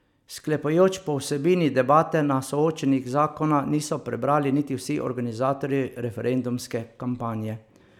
Sklepajoč po vsebini debate na soočenjih zakona niso prebrali niti vsi organizatorji referendumske kampanje.